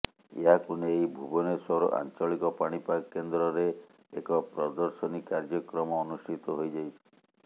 ଏହାକୁ ନେଇ ଭୁବନେଶ୍ବର ଆଞ୍ଚଳିକ ପାଣିପାଗ କେନ୍ଦ୍ରରେ ଏକ ପ୍ରଦର୍ଶନୀ କାର୍ଯ୍ୟକ୍ରମ ଅନୁଷ୍ଠିତ ହୋଇ ଯାଇଛି